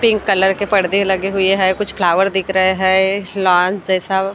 pink colour के पर्दे लगे हुए हैं कुछ फ्लावर दिख रहे हैं लांच जैसा--